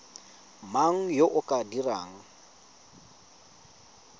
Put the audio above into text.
mang yo o ka dirang